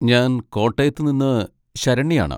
ഞാൻ കോട്ടയത്തുനിന്ന് ശരണ്യയാണ്.